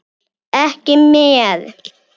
Ekki mér.